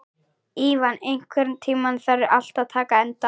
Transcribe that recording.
Ívan, einhvern tímann þarf allt að taka enda.